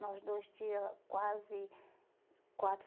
Nós dois tinha quase quatro